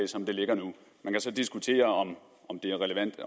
som det ligger nu man kan så diskutere om det er relevant